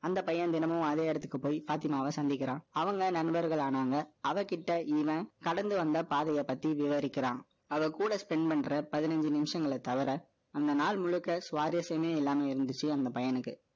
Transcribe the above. அந்த பையன் தினமும் அதே இடத்துக்கு போய் பாத்திமாவ சந்திக்கிறான். அவங்க நண்பர்களானாங்க. அவ கிட்ட இவன் கடந்து வந்த பாதையை பத்தி விவரிக்கிறான் அவ கூட spend பண்ற பதினஞ்சு நிமிஷங்களை தவிர, அந்த நாள் முழுக்க சுவாரஸ்யமே இல்லாம இருந்துச்சு, அந்த பையனுக்கு.